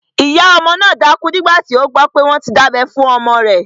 Ìyá ọmọ náà dákú nígbàtí ó gbọ́ pé wọ́n ti dábẹ́ fún ọmọ rẹ̀ obìnrin